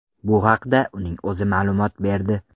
Bu haqda uning o‘zi ma’lumot berdi.